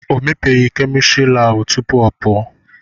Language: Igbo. O mepeghị kemịstrị laabụ tupu ọ pụọ.